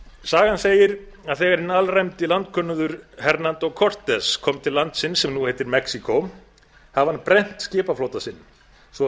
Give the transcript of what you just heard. sagan segir að þegar hinn alræmdi landkönnuður hernando cortez kom til landsins sem nú heitir mexíkó hafði hann brennt skipaflota sinn svo